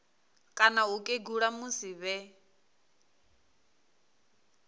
kana u kegula musi vhe